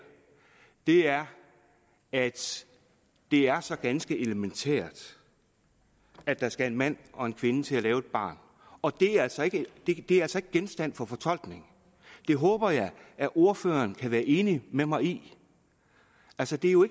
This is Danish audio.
er at det er så ganske elementært at der skal en mand og en kvinde til at lave et barn og det er altså ikke genstand for fortolkning det håber jeg at ordføreren kan være enig med mig i altså det er jo